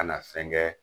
Ka na fɛn kɛ